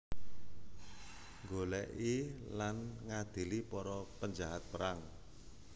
Nggolèki lan ngadili para penjahat perang